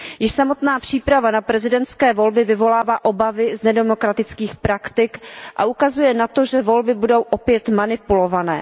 Již samotná příprava na prezidentské volby vyvolává obavy z nedemokratických praktik a ukazuje na to, že volby budou opět manipulované.